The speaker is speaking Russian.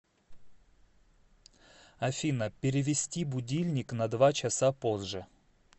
афина перевести будильник на два часа позже